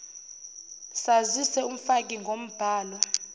sazise umfaki ngombhalo